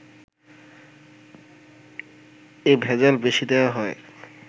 এ ভেজাল বেশি দেয়া হয়